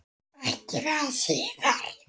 Ekki er það síðra.